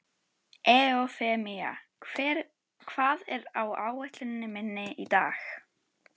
Eufemía, hvað er á áætluninni minni í dag?